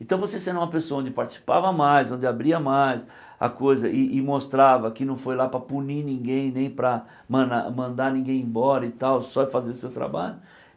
Então você sendo uma pessoa onde participava mais, onde abria mais a coisa e e mostrava que não foi lá para punir ninguém, nem para manar mandar ninguém embora e tal, só ir fazer o seu trabalho.